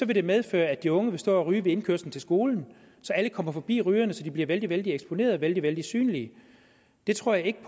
det medføre at de unge vil stå og ryge ved indkørslen til skolen så alle kommer forbi rygerne som bliver vældig vældig eksponerede og vældig vældig synlige det tror jeg ikke